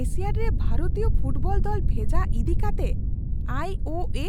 Asiad ᱨᱮ ᱵᱷᱟᱨᱚᱛᱤᱭᱚ football ᱫᱚᱞ ᱵᱷᱮᱡᱟ ᱤᱫᱤ ᱠᱟᱛᱮ ᱟᱭ ᱳ ᱮ